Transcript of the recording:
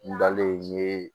N dalen n ye